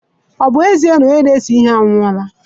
Ọ bụ ezie na onye na-ese ihe anwụọla